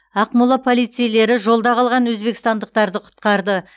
ақмола полицейлері жолда қалған өзбекстандықтарды құтқарды